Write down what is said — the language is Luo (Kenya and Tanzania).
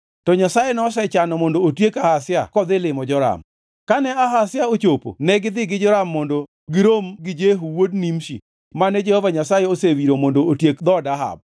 To Nyasaye nosechano mondo otiek Ahazia kodhi limo Joram. Kane Ahazia ochopo negidhi gi Joram mondo girom gi Jehu wuod Nimshi mane Jehova Nyasaye osewiro mondo otiek dhood Ahab.